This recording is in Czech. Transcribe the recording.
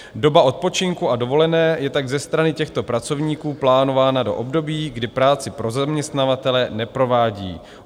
Doba odpočinku a dovolené je tak ze strany těchto pracovníků plánována do období, kdy práci pro zaměstnavatele neprovádí.